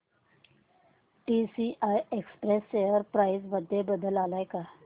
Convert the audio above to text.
TCI express share price मध्ये बदल आलाय का